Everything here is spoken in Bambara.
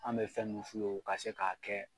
An bɛ fɛn mun f'u ye o ka se k'a kɛ.